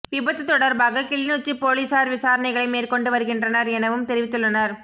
விபத்து தொடர்பாக கிளிநொச்சி பொலிஸார் விசாரணைகளை மேற்கொண்டு வருகின்றனர் எனவும் தெரிவித்துள்ளனர்